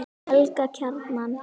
Helga Kjaran.